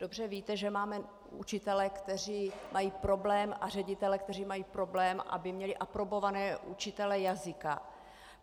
Dobře víte, že máme učitele, kteří mají problém, a ředitele, kteří mají problém, aby měli aprobované učitele jazyka.